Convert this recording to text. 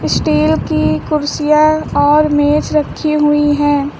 Steel की कुर्सियां और मेज रखी हुई हैं।